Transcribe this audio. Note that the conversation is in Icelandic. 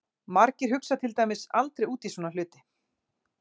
Margir hugsa til dæmis aldrei út í svona hluti!